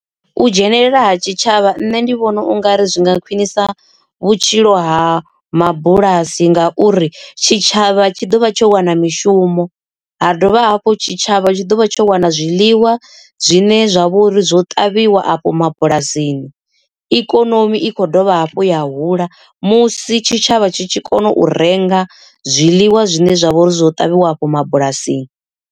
U dzhenelela ha tshitshavha nṋe ndi vhona ungari zwi nga khwinisa vhutshilo ha mabulasi ngauri tshitshavha tshi ḓovha tsho wana mishumo ha dovha hafhu tshitshavha tshi ḓo vha tsho wana zwiḽiwa zwine zwa vhouri zwo ṱavhiwa afho mabulasini. Ikonomi i khou dovha hafhu ya hula musi tshitshavha tshi tshi kona u renga zwiḽiwa zwine zwavha uri zwo ṱavhiwa afho mabulasini.